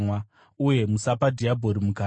uye musapa dhiabhori mukana.